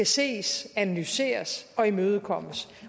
ses analyseres og imødegås